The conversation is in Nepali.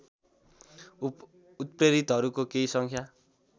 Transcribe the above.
उप्रेतीहरूको केही सङ्ख्या